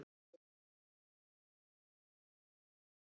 Orðið kaggi er notað í fleiri en einni merkingu.